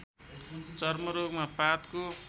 चर्मरोगमा पातको